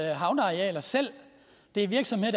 havnearealer selv det er virksomheder